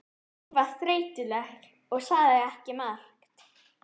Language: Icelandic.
Hún var þreytuleg og sagði ekki margt.